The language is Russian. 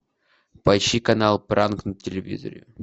поищи канал пранк на телевизоре